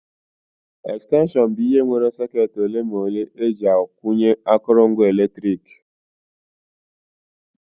Extension bụ ihe nwere socketị ole ma ole eji akwụnye akụrụngwa eletrik nwere